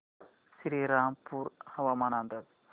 श्रीरामपूर हवामान अंदाज